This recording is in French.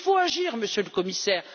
Il faut agir, Monsieur le Commissaire.